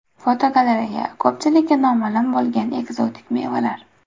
Fotogalereya: Ko‘pchilikka noma’lum bo‘lgan ekzotik mevalar.